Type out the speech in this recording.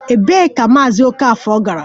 Ebee ka Maazị Okafor gara?